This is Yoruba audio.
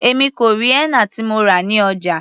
Èmi kò rí henna tí mo rà ní ọjà.